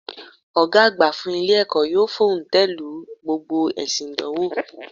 Ògá àgbà fún Ilé èkó yóò fòntèlu gbogbo èsi ìdánwò